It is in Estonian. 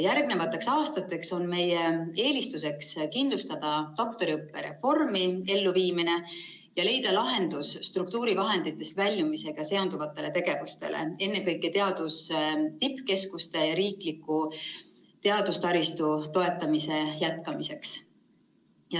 Järgnevatel aastatel on meie eelistus kindlustada doktoriõppe reformi elluviimine ja leida lahendus struktuurivahenditest väljumisega seonduvatele tegevustele, ennekõike teaduse tippkeskuste ja riikliku teadustaristu toetamise jätkamiseks.